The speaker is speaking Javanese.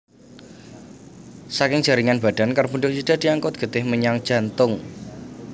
Saking jaringan badan karbondioksida diangkut getih menyang jantung